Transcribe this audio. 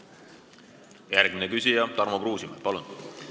Järgmine küsija Tarmo Kruusimäe, palun!